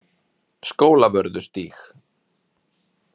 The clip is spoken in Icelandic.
Skólavörðustíg